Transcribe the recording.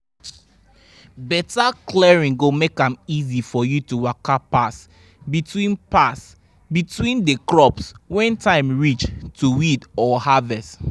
better clearing go make am easy for you to waka pass between pass between the crops when time reach to weed or harvest